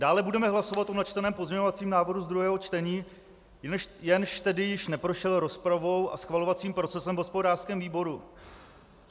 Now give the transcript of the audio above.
Dále budeme hlasovat o načteném pozměňovacím návrhu z druhého čtení, jenž tedy již neprošel rozpravou a schvalovacím procesem v hospodářském výboru.